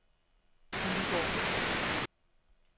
Pilgård